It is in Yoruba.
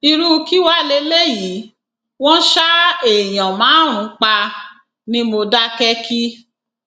irú kí wàá lélẹyìí wọn ṣa èèyàn márùnún pa ní mòdákẹkí